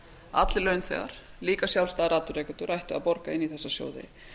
allir launþegar líka sjálfstæðir atvinnurekendur ættu að borga inn í þessa sjóði